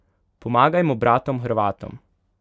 Pomagajmo bratom Hrvatom!